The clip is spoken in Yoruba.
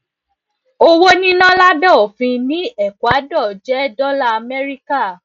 owo nina labe ofin ni ecuador jẹ dollar america